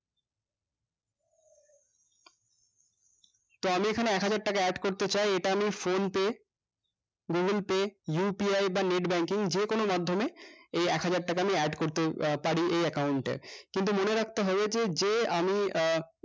তো আমি এখানে এক হাজার টাকা add করতে চাই এটা আমি phone pay google pay upay বা net banking যেকোনো মাধ্যমে এই এক হাজার টাকা আমি add করতে আহ পারি এই account এ কিন্তু মনে রাখতে হবে যে আমি আহ